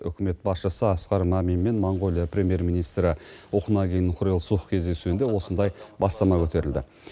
үкімет басшысы асқар мамин мен моңғолия премьер министрі ухнаагийн хурэлсух кездесуінде осындай бастама көтерілді